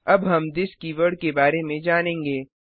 httpwwwspoken tutorialओआरजी अब हम थिस कीवर्ड के बारे में जानेंगे